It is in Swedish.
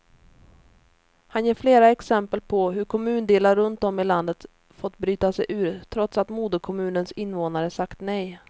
Han ger flera exempel på hur kommundelar runt om i landet fått bryta sig ur, trots att moderkommunens invånare sagt nej.